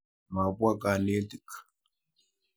Mapwa kanetik.